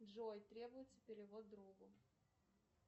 джой требуется перевод другу